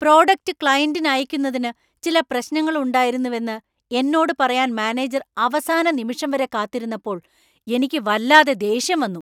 Product ക്ലയന്‍റിന് അയയ്ക്കുന്നതിന് ചില പ്രശ്നങ്ങൾ ഉണ്ടണ്ടായിരുന്നെവെന്ന് എന്നോട് പറയാൻ മാനേജർ അവസാന നിമിഷം വരെ കാത്തിരുന്നപ്പോൾ എനിക്ക് വല്ലാതെ ദേഷ്യം വന്നു.